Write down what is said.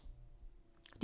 DR2